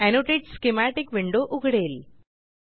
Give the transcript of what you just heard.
annotate schematic window उघडेल